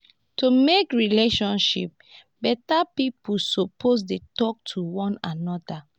to mek relationship beta pipo supposed dey talk to one anoda